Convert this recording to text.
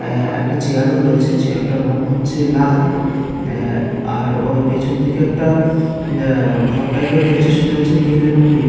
আ একটা চেয়ার ও রয়েছে। চেয়ার তার রং হচ্ছে লাল আ আর পেছন দিকে একটা আ ঘর টাইপের রয়েছে সেটা হচ্ছে নীল এবং পিঙ্ক ।